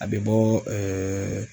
A bɛ bɔ